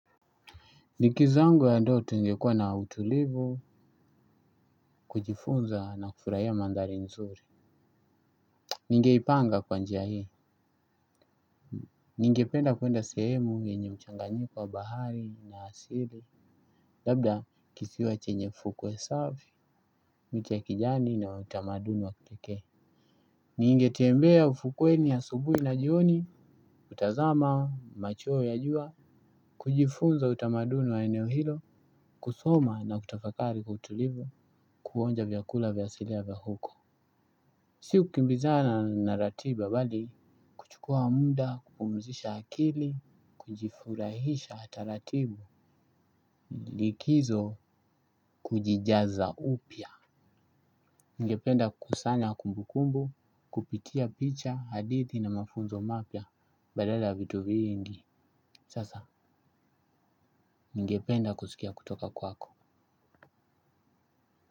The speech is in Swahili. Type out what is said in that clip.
Likizo yangu ya ndoto ingekua na utulivu, kujifunza na kufurahia mandhali nzuri. Ningeipanga kwa njia hii. Ningependa kuenda sehemu yenye mchanganyiko wa bahari na asili. Labda kisiwa chenye fukwe safi, miti ya kijani na utamaduni wa kipeke. Ningetembea ufukweni ya subuhi na jioni, utazama, machweo ya jua. Kujifunza utamaduni wa eneo hilo, kusoma na kutafakari kwa utulivu, kuonja vyakula vya asilia vya huko. Si kukumbizana na ratiba bali, kuchukua muda kupumzisha akili, kujifurahisha taratibu, likizo kujijaza upya. Ningependa kusanya kumbu kumbu, kupitia picha, hadithi na mafunzo mapya badala vitu viingi, sasa ningependa kusikia kutoka kwako.